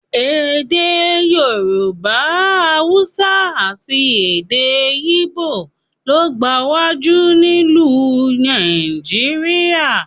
Èdè Yorùbá, Haúsá àti èdè ígbò ló gbajúmọ̀ nílùú Nigeria